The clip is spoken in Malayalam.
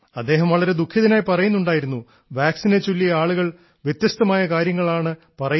അദ്ദേഹം വളരെ ദുഃഖിതനായി പറയുന്നുണ്ടായിരുന്നു വാക്സിനെ ചൊല്ലി ആളുകൾ വ്യത്യസ്തമായ കാര്യങ്ങളാണ് പറയുന്നതെന്ന്